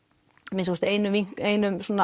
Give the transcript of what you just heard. að minnsta kosti einum einum